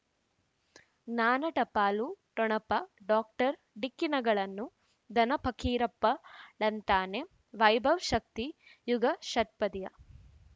ಜ್ಞಾನ ಟಪಾಲು ಠೊಣಪ ಡಾಕ್ಟರ್ ಢಿಕ್ಕಿ ಣಗಳನು ಧನ ಫಕೀರಪ್ಪ ಳಂತಾನೆ ವೈಭವ್ ಶಕ್ತಿ ಯುಗಾ ಷಟ್ಪದಿಯ